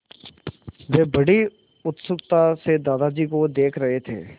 वे बड़ी उत्सुकता से दादाजी को देख रहे थे